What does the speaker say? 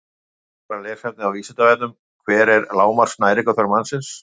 Frekara lesefni á Vísindavefnum: Hver er lágmarks næringarþörf mannsins?